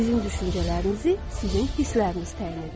Sizin düşüncələrinizi sizin hissləriniz təyin edir.